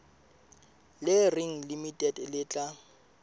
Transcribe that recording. le reng limited le tla